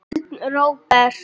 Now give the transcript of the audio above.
Björn Róbert.